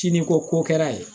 Siniko ko kɛra yen